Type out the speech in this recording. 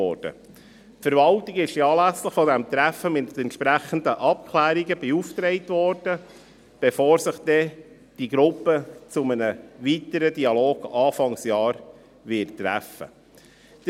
Die Verwaltung wurde anlässlich dieses Treffens mit entsprechenden Abklärungen beauftragt, bevor sich die Gruppe zu einem weiteren Dialog Anfang nächstes Jahr treffen wird.